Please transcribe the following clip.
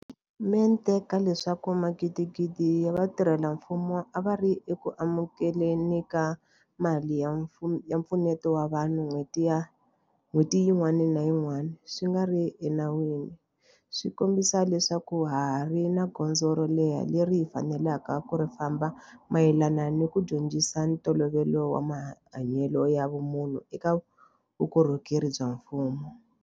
Mente ka leswaku magidigidi ya vatirhela mfumo a va ri eku amukele ni ka mali ya mpfuneto wa vanhu n'hweti yin'wana ni yin'wana swi nga ri enawini swi kombisa leswaku ha ha ri ni gondzo ro leha leri hi faneleke ku ri famba mayelana ni ku dyondzisa ntolovelo wa mahanyelo ya vumunhu eka vukorhokeri bya mfumo.